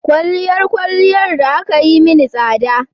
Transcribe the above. Kwalliyar kwalliyar da aka yi mini tsada